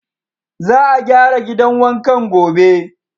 Za a gyara gidan wankan gobe.